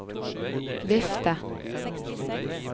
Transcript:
vifte